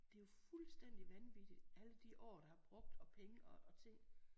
Det er jo fuldstændigt vanvittigt alle de år der har brugt og penge og ting